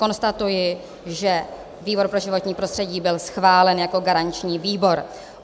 Konstatuji, že výbor pro životní prostředí byl schválen jako garanční výbor.